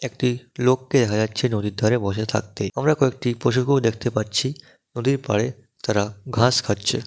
একটি লোককে দেখা যাচ্ছে নদীর ধারে বসে থাকতে। আমরা কয়েকটি পশু কেউ দেখতে পাচ্ছি। নদীর পাড়ে তারা ঘাস খাচ্ছে।